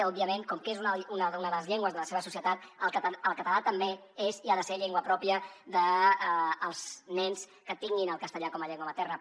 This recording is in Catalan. òbviament com que és una de les llengües de la seva societat el català també és i ha de ser llengua pròpia dels nens que tinguin el castellà com a llengua materna